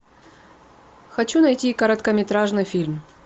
хочу найти короткометражный фильм